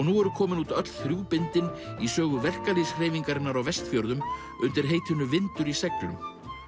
nú eru komin út öll þrjú bindin í sögu verkalýðshreyfingarinnar á Vestfjörðum undir heitinu vindur í seglum